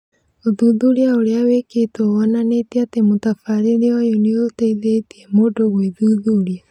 Ũthuthuria ũrĩa wĩkĩtwo wonanĩtie atĩ mũtabĩrĩre ũyũ nĩũteithĩtie mũndũ gwĩthuthuria